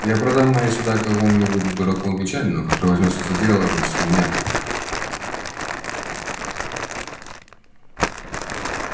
я продам мои суда какому-нибудь дураку англичанину который возьмётся за дело вместо меня